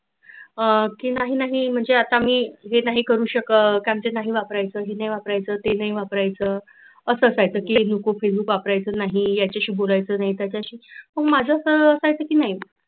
हा की नाही नाही म्हणजे अत्ता मी वेट नाही करु शकत हे नाही वापरायच ते नाही वापरायच अस काही नको facebook वापरायच नाही याच्याशी बोलायच नाही त्याच्याशी बोलायच नाही मग माझ अस नाही